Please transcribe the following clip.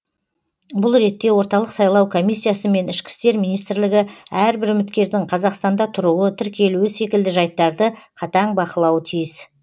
бұл ретте орталық сайлау комиссиясы мен ішкі істер министрлігі әрбір үміткердің қазақстанда тұруы тіркелуі секілді жайттарды қатаң бақылауы тиіс